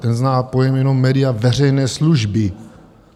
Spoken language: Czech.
Ten zná jenom pojem média veřejné služby.